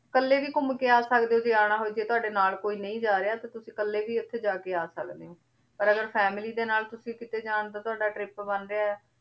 ਕਾਲੇ ਵੀ ਘੁਮ ਕੇ ਆ ਸਕਦੇ ਊ ਜੇ ਆਨਾ ਹੋਆਯ ਜੇ ਤਾੜੇ ਨਾਲ ਕੋਈ ਨਾਈ ਜਾ ਰਯ ਤੁਸੀਂ ਕਾਲੇ ਵੀ ਓਥੇ ਜਾ ਕੇ ਆ ਸਕਦੇ ਊ ਓਰ ਅਗਰ family ਦੇ ਨਾਲ ਤੁਸੀਂ ਜਾਂ ਦਾ ਕਿਤੇ ਤਾਵਾਦਾ trip ਬਣ ਰਯ ਆਯ